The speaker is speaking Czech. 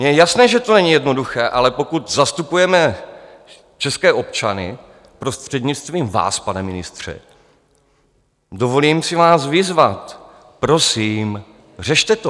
Mně je jasné, že to není jednoduché, ale pokud zastupujeme české občany, prostřednictvím vás, pane ministře, dovolím si vás vyzvat: Prosím, řešte to!